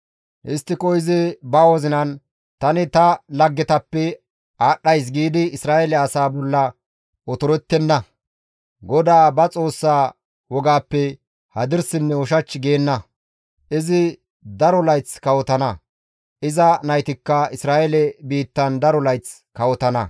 Histtiko izi ba wozinan, «Tani ta laggetappe aadhdhays» giidi Isra7eele asaa bolla otorettenna; GODAA ba Xoossaa wogappe hadirsinne ushach geenna; izi daro layth kawotana; iza naytikka Isra7eele biittan daro layth kawotana.